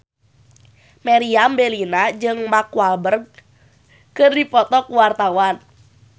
Meriam Bellina jeung Mark Walberg keur dipoto ku wartawan